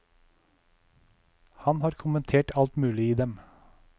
Han har kommentert alt mulig i dem.